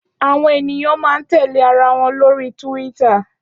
Áwòn éniyàn má n tèlé àráwòn lóri Túwìtá